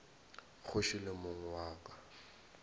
kgoši le mong wa ka